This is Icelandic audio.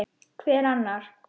Hver annar?